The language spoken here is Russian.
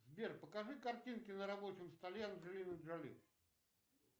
сбер покажи картинки на рабочем столе анджелины джоли